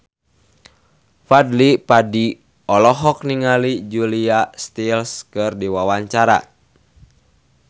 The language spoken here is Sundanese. Fadly Padi olohok ningali Julia Stiles keur diwawancara